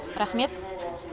рахмет